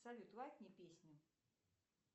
салют лайкни песню